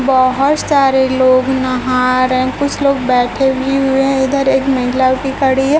बहोत सारे लोग नहा रहें कुछ लोग बैठे भी हुए है इधर एक महिला भी खड़ी है।